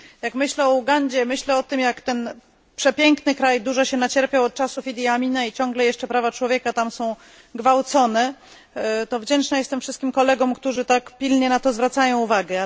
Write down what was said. Jak myślę o Ugandzie, myślę o tym, jak ten przepiękny kraj dużo się nacierpiał od czasów Idi Amina i ciągle jeszcze prawa człowieka tam są gwałcone, to wdzięczna jestem wszystkim kolegom, którzy tak pilnie na to zwracają uwagę.